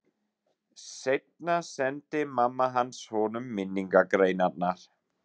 Seinna sendi mamma hans honum minningargreinarnar.